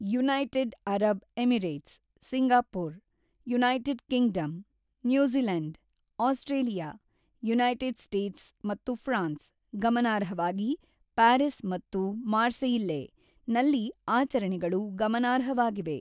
United Arab Emirates, Singapore, United Kingdom, New Zealand, Australia, United States ಮತ್ತು France (ಗಮನಾರ್ಹವಾಗಿ Paris ಮತ್ತು Marseille) ನಲ್ಲಿ ಆಚರಣೆಗಳು ಗಮನಾರ್ಹವಾಗಿವೆ.